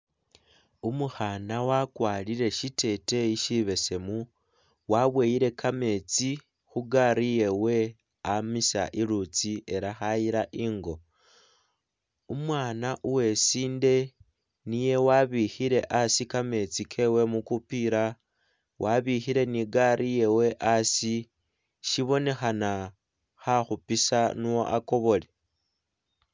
Umukhana wakwarire shiteteyi sibesemu waboyele kametsi khugaali yewe amisa khulutsi ela khayila ingo, umwana umusinde niye abikhile asi kametsi kewe mukupila wabikhile ne igaali yewe asi sibonekhana khakhupisa ne akobole